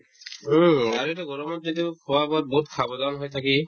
উম, আৰু এইটো গৰমত যিটো খোৱা-বোৱাত বহুত সাৱধান হৈ থাকি